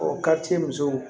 musow